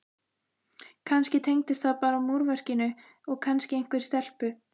kannski tengdist það bara múrverkinu og kannski einhverri stelpu.